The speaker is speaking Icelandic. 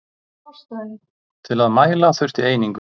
Til að mæla þurfti einingu.